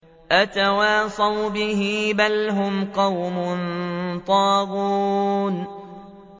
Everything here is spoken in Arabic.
أَتَوَاصَوْا بِهِ ۚ بَلْ هُمْ قَوْمٌ طَاغُونَ